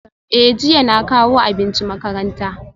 Eh jiya na kawo abinci makaranta